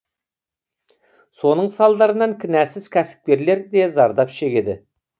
соның салдарынан кінәсіз кәсіпкерлер де зардап шегеді